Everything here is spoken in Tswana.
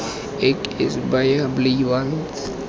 ek is baie bly want